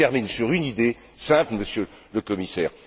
Je termine sur une idée, simple, Monsieur le Commissaire.